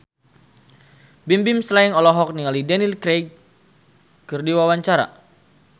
Bimbim Slank olohok ningali Daniel Craig keur diwawancara